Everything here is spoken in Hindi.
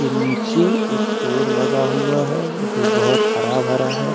नीचे एक पेड़ लगा हुआ है जो बहुत हरा भरा है।